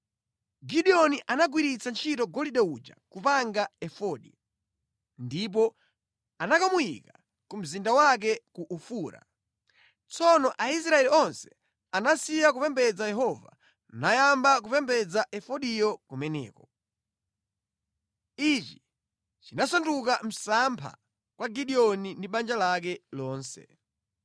Gideoni anagwiritsa ntchito golide uja kupanga efodi, ndipo anakamuyika ku mzinda wake ku Ofura. Tsono Aisraeli onse anasiya kupembedza Yehova nayamba kupembedza efodiyo kumeneko. Ichi chinasanduka msampha kwa Gideoni ndi banja lake lonse.